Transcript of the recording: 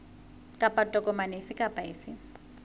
kapa tokomane efe kapa efe